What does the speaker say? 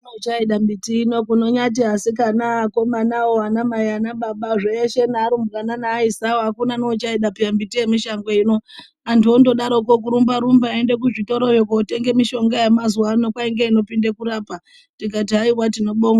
Akuna uchaida miti ino kunonyati asikana ,akomana, anamai, anababa, zveshe ne arumbwana, neaisawo akuna neuchaida peya miti yemishango ino antu ondodaroko kurumba rumba eiende kuzvitoroyo kotenge mishonga yemazuwa ano kwai ngeinopinde kurapa tikati haiwa tinobonga.